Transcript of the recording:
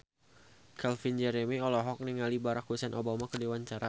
Calvin Jeremy olohok ningali Barack Hussein Obama keur diwawancara